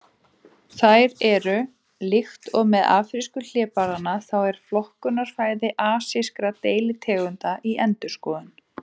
Þær eru: Líkt og með afrísku hlébarðanna þá er flokkunarfræði asískra deilitegunda í endurskoðun.